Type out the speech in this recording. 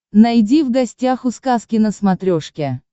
найди в гостях у сказки на смотрешке